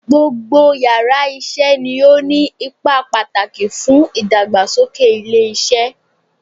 Gbogbo yàrá isé ni ó ní ipa pàtàkì fún ìdàgbàsókè ilé isé